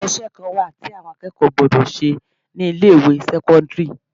Ǹjẹ́ iṣẹ́ kan wà tí àwọn akẹ́kọ̀ọ́ gbọ́dọ̀ ṣe ni ilé ìwé sẹ́kọ́ńdírì?